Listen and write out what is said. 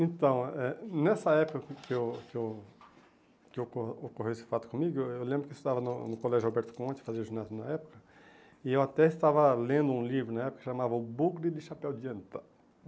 Então, eh nessa época que eu que eu que oco ocorreu esse fato comigo, eu lembro que eu estudava no no Colégio Alberto Conte, fazia ginásio na época, e eu até estava lendo um livro na época que chamava O Bugre do Chapéu de Anta.